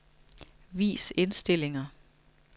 Vis indstillinger.